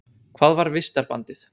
Hvað var vistarbandið?